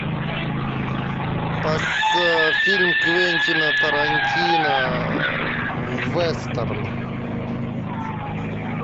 фильм квентина тарантино вестерн